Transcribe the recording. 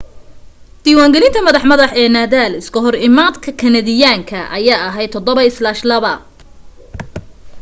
diwaan galinta madax madax ee nadal iska hor imaadkii kanadiyaanka ayaa ahayd 7-2